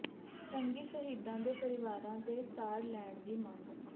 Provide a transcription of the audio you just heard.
ਜੰਗੀ ਸ਼ਹੀਦਾਂ ਦੇ ਪਰਿਵਾਰਾਂ ਦੀ ਸਾਰ ਲੈਣ ਦੀ ਮੰਗ